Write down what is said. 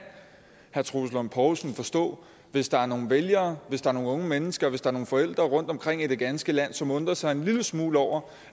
herre troels lund poulsen så forstå hvis der er nogle vælgere hvis der er nogle unge mennesker hvis der er nogle forældre rundtomkring i det ganske land som undrer sig en lille smule over